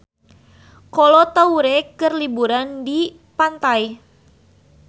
Kolo Taure keur liburan di pantai